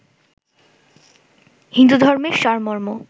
হিন্দুধর্মের সারমর্ম